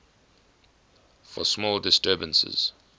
for small disturbances